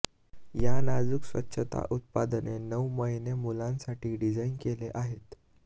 या नाजूक स्वच्छता उत्पादने नऊ महिने मुलांसाठी डिझाइन केले आहेत